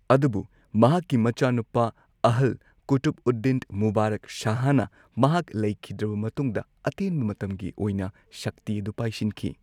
ꯑꯗꯨꯕꯨ ꯃꯍꯥꯛꯀꯤ ꯃꯆꯥꯅꯨꯄꯥ ꯑꯍꯜ ꯀꯨꯇꯨꯕꯎꯗꯗꯤꯟ ꯃꯨꯕꯥꯔꯛ ꯁꯍꯥꯍ ꯃꯍꯥꯛ ꯂꯩꯈꯤꯗ꯭ꯔꯕ ꯃꯇꯨꯡꯗ ꯑꯇꯦꯟꯕ ꯃꯇꯝꯒꯤ ꯑꯣꯏꯅ ꯁꯛꯇꯤ ꯑꯗꯨ ꯄꯥꯏꯁꯤꯟꯈꯤ꯫